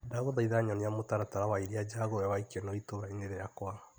Ndagũthaitha nyonia mũtaratara wa iria njagure wa ikeno itũra-inĩ rĩakwa .